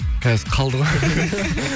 қазір қалды ғой